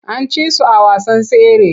An ci su a wasan tsere.